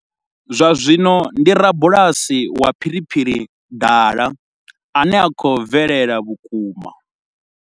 Zwa zwino ndi rabulasi wa phiriphiri dala a no khou bvelela vhukuma.